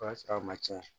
O y'a sɔrɔ a ma tiɲɛ